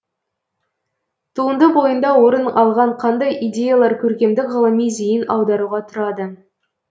туынды бойында орын алған қандай идеялар көркемдік ғылыми зейін аударуға тұрады